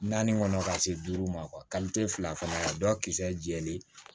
Naani kɔnɔ ka se duuru ma fila fana ka dɔ kisɛ jɛlen